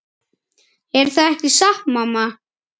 Er það ekki satt mamma?